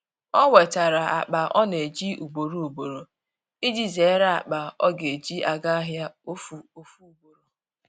o wetara akpa ọ na eji ugboro ugboro iji zere akpa ọ ga eji aga ahia ofu ugboro.